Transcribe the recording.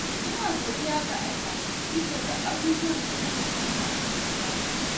Ina godiya ga Allah bisa ga abubuwan da na mallaka a rayuwata.